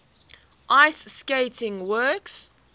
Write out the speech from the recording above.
ice skating works